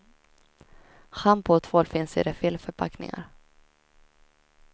Schampo och tvål finns i refillförpackningar.